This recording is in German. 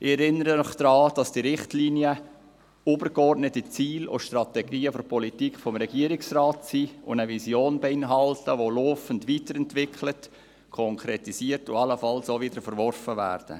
Ich erinnere Sie daran, dass diese Richtlinien die übergeordneten Ziele und Strategien der Politik des Regierungsrates darstellen sowie eine Vision beinhalten, die laufend weiterentwickelt, konkretisiert und allenfalls auch wieder verworfen werden.